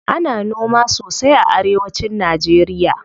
Ana noma sosai a arewa cin najeriya.